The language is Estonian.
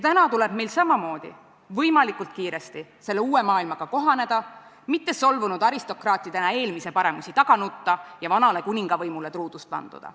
Täna tuleb meil samamood võimalikult kiiresti selle uue maailmaga kohaneda, mitte solvunud aristokraatidena eelmise paremusi taga nutta ja vanale kuningavõimule truudust vanduda.